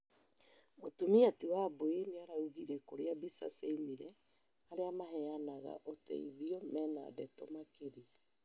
Mũtumia ti Wambui nĩaraũgire kũria mbica ciaũmire, arĩa maheyanaga ũteithio mena ndeto makĩria